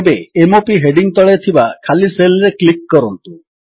ଏବେ m o P heading ତଳେ ଥିବା ଖାଲି ସେଲ୍ ରେ କ୍ଲିକ୍ କରନ୍ତୁ